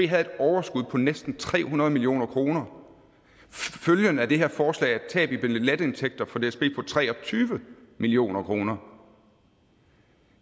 havde et overskud på næsten tre hundrede million kroner følgen af det her forslag er et tab i billetindtægter for dsb på tre og tyve million kroner